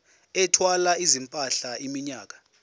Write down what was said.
ethwala izimpahla iminyaka